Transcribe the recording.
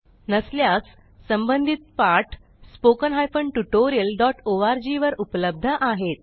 नसल्यास संबंधित पाठ spoken tutorialओआरजी वर उपलब्ध आहेत